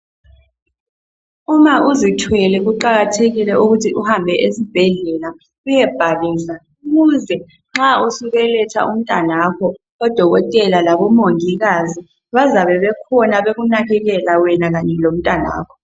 Uma uzithwele kuqakathekile ukuthi uhambe esibhedlela uye bhalisa ukuze nxa usubeletha umntanakho odokotela labomongikazi bazabe bekhona bekunakekela wena kanye lomntanakho.